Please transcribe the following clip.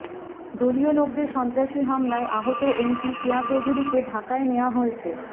দলীয় লোকদের সন্ত্রাসী হামলায় আহত এমপি কেয়া চৌধুরীকে ঢাকায় নেয়া হয়েছে